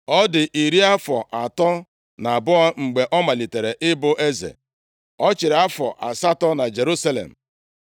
Ọ dị iri afọ atọ na abụọ mgbe ọ malitere ịbụ eze, ọ chịrị afọ asatọ na Jerusalem.